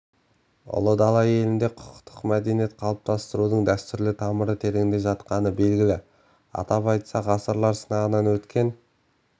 ұлы дала елінде құқықтық мәдениет қалыптастырудың дәстүрлі тамыры тереңде жатқаны белгілі атап айтсақ ғасырлар сынағынан өткен